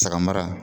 Saga mara